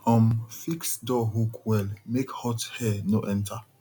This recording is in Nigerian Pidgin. um fix door hook well make hot air no enter